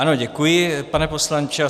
Ano, děkuji, pane poslanče.